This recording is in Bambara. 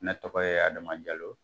Ne tɔgɔ ye Adama Jalo